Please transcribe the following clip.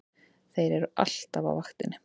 Þeir eru alltaf á vaktinni!